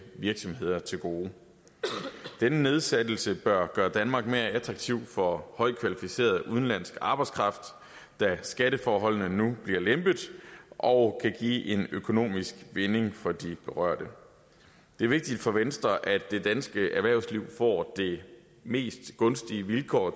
virksomheder til gode denne nedsættelse bør gøre danmark mere attraktiv for højtkvalificeret udenlandsk arbejdskraft da skatteforholdene nu bliver lempet og kan give en økonomisk vinding for de berørte det er vigtigt for venstre at det danske erhvervsliv får de mest gunstige vilkår